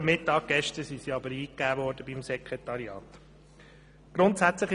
Gestern sind sie aber vor dem Mittag beim Sekretariat eingetroffen.